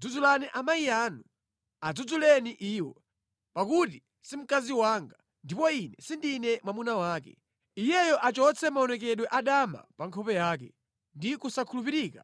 “Dzudzulani amayi anu, adzudzuleni iwo, pakuti si mkazi wanga, ndipo ine sindine mwamuna wake. Iyeyo achotse maonekedwe adama pa nkhope yake, ndi kusakhulupirika